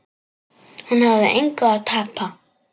Hún hafði engu að tapa.